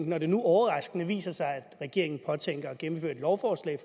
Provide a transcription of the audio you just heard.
når det nu overraskende viser sig at regeringen påtænker at gennemføre et lovforslag